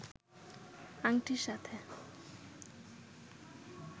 আংটির সাথে